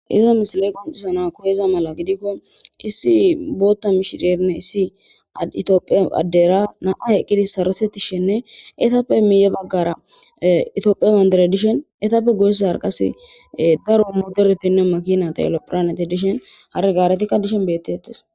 Hiza misile qonccisana koyiza mala gidikko issi booththa mishirenne issi ethoophe addeera naa7ay eqqidi sarotheththishenne ethappe guyye baggaara ethoophiya banddiray dishe ethappe gu baggaara qassi daro mothorethi,makiinathinne,horophilaanee dishen hare gaareykka dishen beettheeththees.